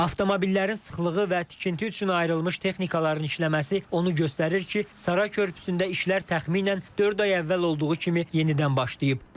Avtomobillərin sıxlığı və tikinti üçün ayrılmış texnikaların işləməsi onu göstərir ki, Saray körpüsündə işlər təxminən dörd ay əvvəl olduğu kimi yenidən başlayıb.